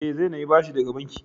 Eh, zai nemi bashi daga bankin.